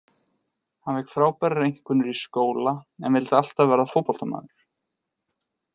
Hann fékk frábærar einkunnir í skóla en vildi alltaf verða fótboltamaður.